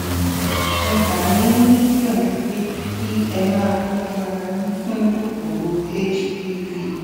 mo gbà yín níyànjú pé kí ẹ máa tọjú ara yín fún kòkòrò hpv